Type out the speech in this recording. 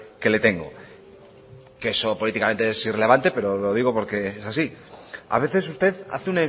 que le tengo que eso políticamente es irrelevante pero lo digo porque es así a veces usted hace